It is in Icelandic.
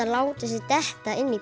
látið sig detta inn í